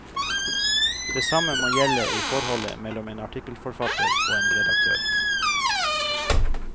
Det samme må gjelde i forholdet mellom en artikkelforfatter og en redaktør.